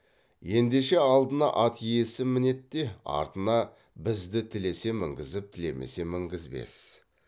ендеше алдына ат иесі мінет те артына бізді тілесе мінгізіп тілемесе мінгізбес